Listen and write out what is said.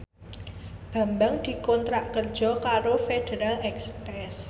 Bambang dikontrak kerja karo Federal Express